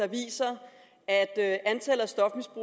viser at antallet